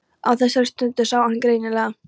Á þessari stundu sá hann greinilega.